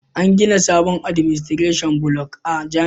An gina sabon Administration Block a jami'ar yusuf maitama